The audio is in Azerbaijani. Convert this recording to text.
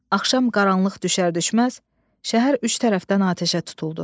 Axşam qaranlıq düşər-düşməz, şəhər üç tərəfdən atəşə tutuldu.